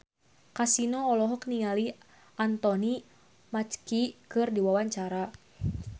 Kasino olohok ningali Anthony Mackie keur diwawancara